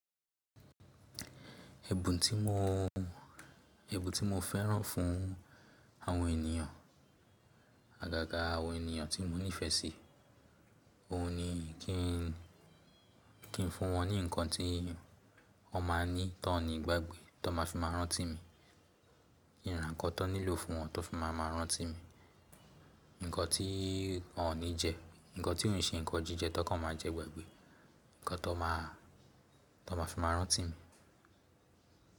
Ẹ̀bùn tí mo, ẹ̀bùn tí mo fẹ́ràn fún àwọn ènìyàn, àgàgà àwọn ènìyàn tí mo nífẹ̀ẹ́ sí, òun ni kí n, kí n fún wọn ní ǹkan tí wọ́n máa ní tó ní gbàgbé, tó má fi máa rántí mi. Kí n ra ǹkan tó nílò fún wọn tó fi máa máa rántí mi. Ǹkan tí wọ́n ní jẹ, ǹkan tí ò n ṣe ǹkan jíjẹ tó kàn máa jẹ gbàgbé. Ǹkan tó má, tó má fi máa rántí mi.